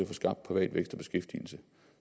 få skabt privat vækst og beskæftigelse